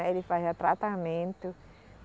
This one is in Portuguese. Aí ele fazia tratamento.